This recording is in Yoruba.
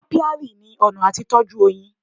Apiary ni ọ̀nà àti tọ́jú oyin.